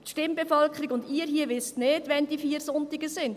Die Stimmbevölkerung und Sie hier wissen nicht, wann die vier Sonntage sind.